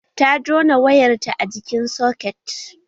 Ta jona wayarta a jikin soket